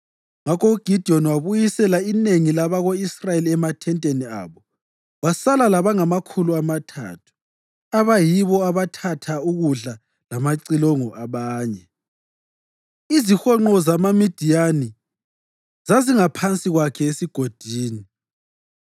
Ngakho uGidiyoni wabuyisela inengi labako-Israyeli emathenteni abo wasala labangamakhulu amathathu, abayibo abathatha ukudla lamacilongo abanye. Izihonqo zamaMidiyani zazingaphansi kwakhe esigodini.